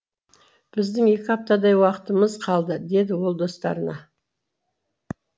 біздің екі аптадай уақытымыз қалды деді ол достарына